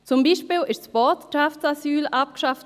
Zum Beispiel wurde das Botschaftsasyl abgeschafft.